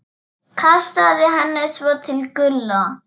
Kastaði henni svo til Gulla.